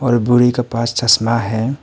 और बूढ़ी के पास चश्मा है।